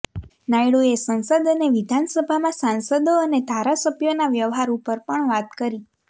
નાયડૂએ સંસદ અને વિધાનસભામાં સાંસદો અને ધારાસભ્યોના વ્યવહાર ઉપર પણ વાત કરી